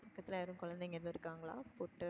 பக்கத்தில யாரும் குழந்தைங்க ஏதும் இருக்காங்களா கூப்டு?